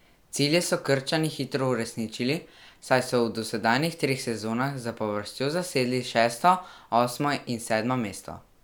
Cilje so Krčani hitro uresničili, saj so v dosedanjih treh sezonah zapovrstjo zasedli šesto, osmo in sedmo mesto.